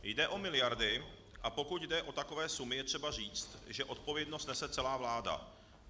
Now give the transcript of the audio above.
Jde o miliardy, a pokud jde o takové sumy, je třeba říct, že odpovědnost nese celá vláda.